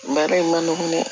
Baara in man nɔgɔn dɛ